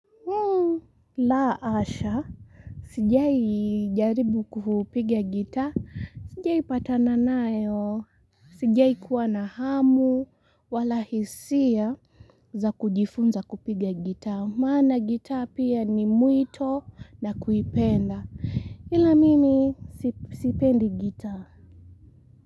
La asha. Sijai jaribu kuhupigia gita. Sijai patana nayo. Sijai kuwa na hamu. Wala hisia za kujifunza kupiga gita. Maana gitaa pia ni mwito na kuipenda. Ila mimi sipendi gitaa.